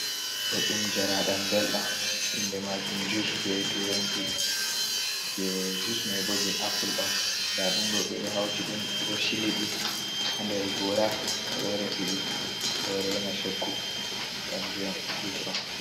Ɗo ɗum njaraaɗam belɗam inde majum jus be turanci jei jus man bo jei apple on, nda ɗum ɗo ɓe ɗo hauti ɗum ɓe ɗo chili ɗi ha nder goora, ɓe ɗo resi ɓe ɗo reina choggu kanju on jus on.